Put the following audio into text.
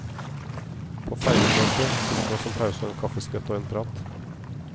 På fergen, vet du, fikk vi oss en pause og en kaffiskvett og en prat.